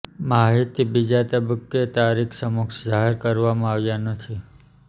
માહિતી બીજા તબક્કે તારીખ સમક્ષ જાહેર કરવામાં આવ્યા નથી